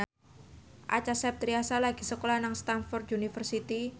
Acha Septriasa lagi sekolah nang Stamford University